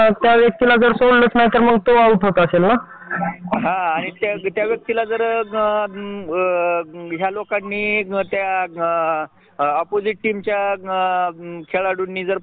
होय मग अशा प्रकारे त्यामध्ये पण गवर्मेंट कंपनी प्रायव्हेट कंपनी